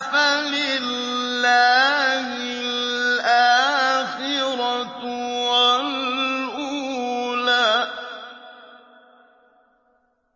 فَلِلَّهِ الْآخِرَةُ وَالْأُولَىٰ